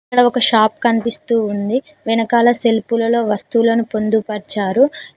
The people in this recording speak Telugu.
ఇక్కడ ఒక షాప్ కనిపిస్తూ ఉంది వెనకాల సెల్పులలో వస్తువులను పొందుపరిచారు.